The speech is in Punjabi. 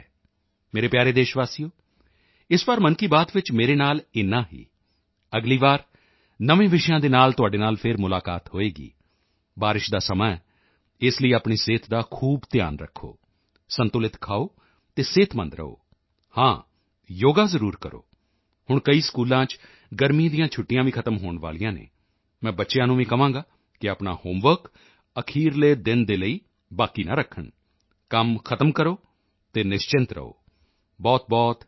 ਮੇਰੇ ਪਿਆਰੇ ਦੇਸ਼ਵਾਸੀਓ ਇਸ ਵਾਰ ਮਨ ਕੀ ਬਾਤ ਵਿੱਚ ਮੇਰੇ ਨਾਲ ਇੰਨਾ ਹੀ ਅਗਲੀ ਵਾਰ ਨਵੇਂ ਵਿਸ਼ਿਆਂ ਦੇ ਨਾਲ ਤੁਹਾਡੇ ਨਾਲ ਫਿਰ ਮੁਲਾਕਾਤ ਹੋਵੇਗੀ ਬਾਰਿਸ਼ ਦਾ ਸਮਾਂ ਹੈ ਇਸ ਲਈ ਆਪਣੀ ਸਿਹਤ ਦਾ ਖੂਬ ਧਿਆਨ ਰੱਖੋ ਸੰਤੁਲਿਤ ਖਾਓ ਅਤੇ ਤੰਦਰੁਸਤ ਰਹੋ ਹਾਂ ਯੋਗਾ ਜ਼ਰੂਰ ਕਰੋ ਹੁਣ ਕਈ ਸਕੂਲਾਂ ਚ ਗਰਮੀਆਂ ਦੀਆਂ ਛੁੱਟੀਆਂ ਵੀ ਖ਼ਤਮ ਹੋਣ ਵਾਲੀਆਂ ਹਨ ਮੈਂ ਬੱਚਿਆਂ ਨੂੰ ਵੀ ਕਹਾਂਗਾ ਕਿ ਆਪਣਾ ਹੋਮਵਰਕ ਅਖੀਰਲੇ ਦਿਨ ਦੇ ਲਈ ਬਾਕੀ ਨਾ ਰੱਖਣ ਕੰਮ ਖ਼ਤਮ ਕਰੋ ਅਤੇ ਨਿਸ਼ਚਿੰਤ ਰਹੋ ਬਹੁਤਬਹੁਤ ਧੰਨਵਾਦ